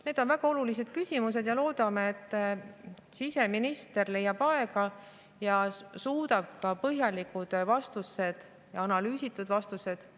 Need on väga olulised küsimused ja me loodame, et siseminister leiab aega ning suudab anda meile selle kohta ka põhjalikud vastused, analüüsitud vastused.